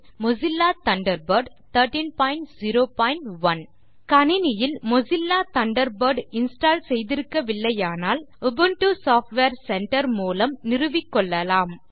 இல் Mozilla Thunderbird 1301 கணினியில் Mozilla Thunderbird install செய்திருக்கவில்லையானால் Ubuntu software centre மூலம் நிறுவிக்கொள்ளலாம்